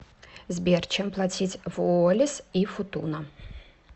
сбер чем платить в уоллис и футуна